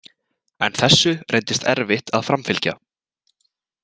En þessu reyndist erfitt að framfylgja.